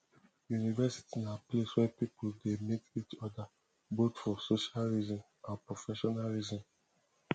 university na place where pipo de meet each oda both for social reason and professional reason